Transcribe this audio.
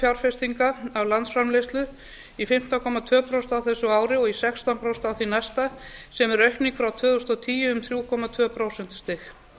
fjárfestinga af landsframleiðslu í fimmtán komma tvö prósent á þessu ári og í sextán prósent á því næsta sem er aukning frá tvö þúsund og tíu um þrjú komma tvö prósentustig